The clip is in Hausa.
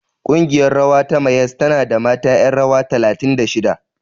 Ƙungiyar rawa ta Mayyas tana da mata ƴan rawa talatin da shida.